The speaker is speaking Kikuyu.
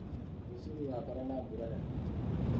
Rũcio gũgakorwo na mbura nene mũno.